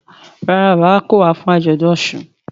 Ràrá bàbá kọ wá fún ajọdun òsùn.